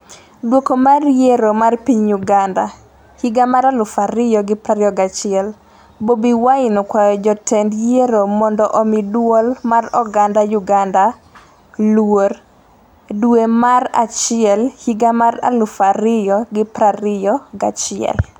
Duoko mar yiero mar piny Uganda 2021: Bobi Wine okwayo jotend Yiero mondo omi dwol mar oganda Uganda luor, Duration 0.5514 dwe mar achiel higa 2021 0:34 Video